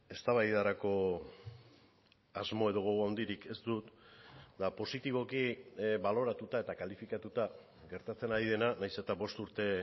eztabaidarako asmo edo gogo handirik ez dut eta positiboki baloratuta eta kalifikatuta gertatzen ari dena nahiz eta bost urte